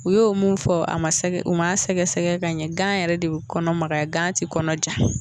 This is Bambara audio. U yo o mun fɔ a man sɛgɛ u man sɛgɛsɛgɛ ka ɲɛ gan yɛrɛ de bɛ kɔnɔ magaya gan ti kɔnɔ ja.